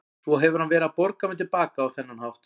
Svo hefur hann verið að borga mér til baka á þennan hátt.